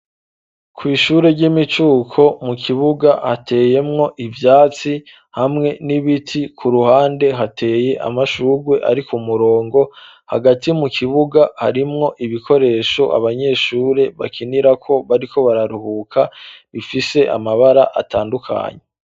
Kw'ishure ry'imicuko mu kibuga hateyemwo ivyatsi hamwe n'ibiti ku ruhande hateye amashugwe arik'umurongo, hagati mu kibuga harimwo ibikoresho abanyeshure bakinirako bariko bararuhuka, bifise amabara atandukanye.